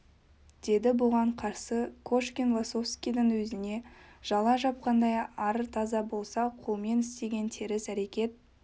деді бұған қарсы кошкин лосовскийдің өзіне жала жапқандай ар таза болса қолмен істеген теріс әрекет